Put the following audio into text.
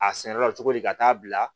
A sɛnɛ la cogo di ka taa bila